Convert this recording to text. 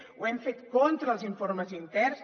ho hem fet contra els informes interns